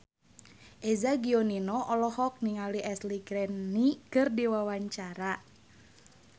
Eza Gionino olohok ningali Ashley Greene keur diwawancara